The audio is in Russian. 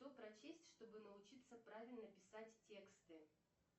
что прочесть чтобы научиться правильно писать тексты